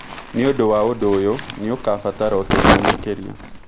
Nĩ ũndũ wa ũndũ ũyũ, nĩ ũkũbatara ũteithio makĩria.